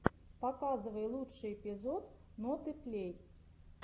показывай лучший эпизод ноты плей